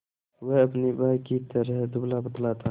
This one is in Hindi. वह अपने भाई ही की तरह दुबलापतला था